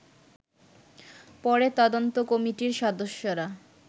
পরে তদন্ত কমিটির সদস্যরা